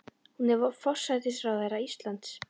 Hún er forsætisráðherra Íslands.